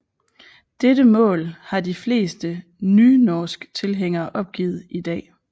Dette mål har de fleste nynorsktilhængere opgivet i dag